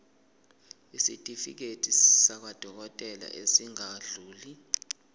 isitifiketi sakwadokodela esingadluli